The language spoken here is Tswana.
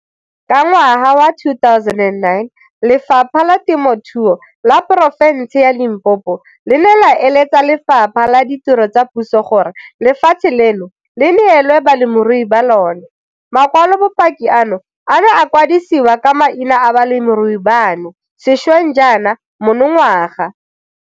Ka ngwaga wa 2009, Lefapha la Temothuo la Poro fense ya Limpopo le ne la eletsa Lefapha la Ditiro tsa Puso gore lefatshe leno le neelwe balemirui ba lona. Makwalobopaki ano a ne a kwadisiwa ka maina a balemirui bano sešweng jaana monongwaga.